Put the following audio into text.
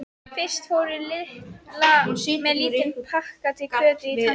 Fyrst fór Lilla með lítinn pakka til Kötu í Tanga.